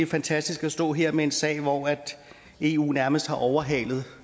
fantastisk at stå her med en sag hvor eu nærmest har overhalet